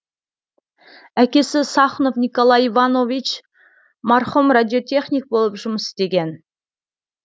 әкесі сахнов николай иванович марқұм радиотехник болып жұмыс істеген